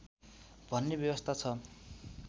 भन्ने व्यवस्था छ